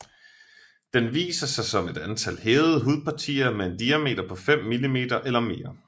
Den viser sig som et antal hævede hudpartier med en diameter på 5 mm eller mere